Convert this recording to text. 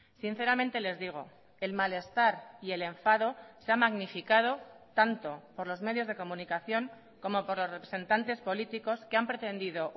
sinceramente les digo el malestar y el enfado se ha magnificado tanto por los medios de comunicación como por los representantes políticos que han pretendido